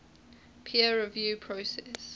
peer review process